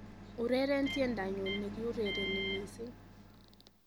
ureren tiendanyun negiurereni missing